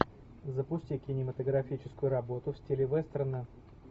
запусти кинематографическую работу в стиле вестерна